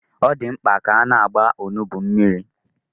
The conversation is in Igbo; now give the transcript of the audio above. Ọ dị mkpa ka a na-agba onugbu mmiri?